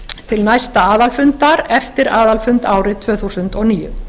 til næsta aðalfundar eftir aðalfund árið tvö þúsund og níu